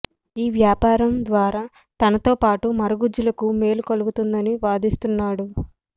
ఈ వ్యాపారం ద్వారా తనతో పాటు మరగుజ్జులకు మేలు కలుగుతోందని వాదిస్తున్నాడు